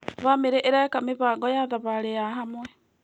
Bamĩrĩ ĩreka mĩbango ya thabarĩ ya hamwe.